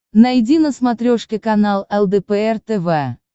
найди на смотрешке канал лдпр тв